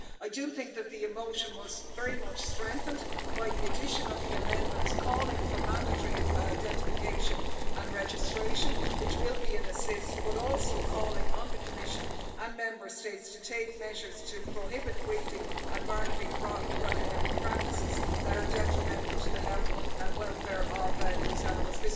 I do think that the motion was very much strengthened by the addition of the amendments calling for mandatory identification and registration, which will be an assist, but also calling on the Commission and Member States to take measures to prohibit breeding and marketing practices that are detrimental to the health and welfare of these animals.